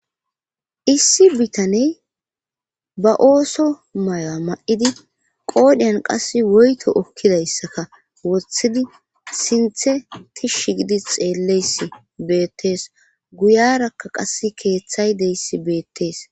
Issi bitaney ba ooso maya ma'idi qoodheyan qass woyto okkidayssaka woththidi sinthe tish gidi xeelleysi beettees guyarakka qas keeththay deyssi beettees.